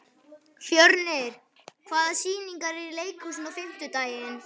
Fjörnir, hvaða sýningar eru í leikhúsinu á fimmtudaginn?